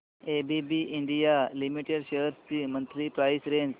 ABB India Limited shares ची monthly price range